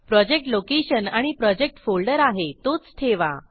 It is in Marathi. प्रोजेक्ट लोकेशन आणि प्रोजेक्ट फोल्डर आहे तोच ठेवा